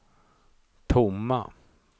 tomma